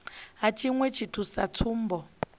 ha tshiṅwe tshithu sa tsumbo